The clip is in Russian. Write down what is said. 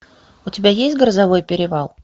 у тебя есть грозовой перевал